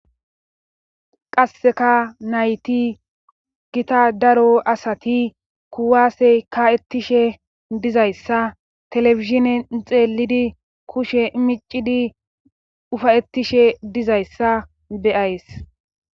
qasseka nayti gita daro asati kuwaasey ka7ettishe dizayssa telefishinen xeelidi kushe miccidi ufayettishe dizayssa beyays